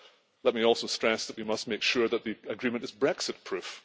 Let me also stress that we must make sure that the agreement is Brexit proof.